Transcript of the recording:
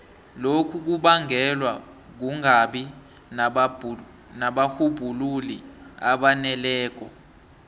lokhu kubangelwa kungabi nabarhubhululi abaneleko